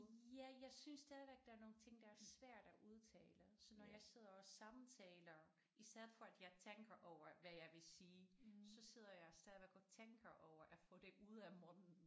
Ja jeg synes stadigvæk der er nogle ting der er svært at udtale så når jeg sidder og samtaler i stedet for at jeg tænker over hvad jeg vil sige så sidder jeg stadigvæk og tænker over at få det ud af munden